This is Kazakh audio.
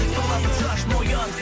сырласып шаш мойын